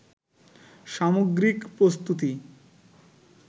সামগ্রিক প্রস্তুতি